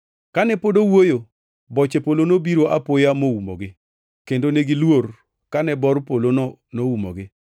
Kane pod owuoyo, boche polo nobiro apoya moumogi, kendo negiluor kane bor polono noumogi.